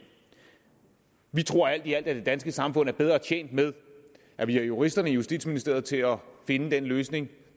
vi tror alt i alt at det danske samfund er bedre tjent med at vi har juristerne i justitsministeriet til at finde den løsning